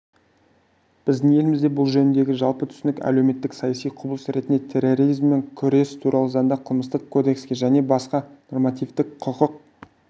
біздің елімізде бұл жөніндегі жалпы түсінік әлеуметтік-саяси құбылыс ретінде терроризммен күрес туралы заңда қылмыстық кодексінде және басқа нормативтік-құқықтық